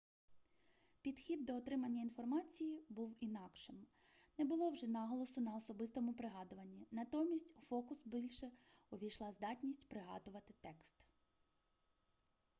підхід до отримання інформації був інакшим не було вже наголосу на особистому пригадуванні натомість у фокус більше увійшла здатність пригадувати текст